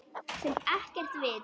Sem er ekkert vit.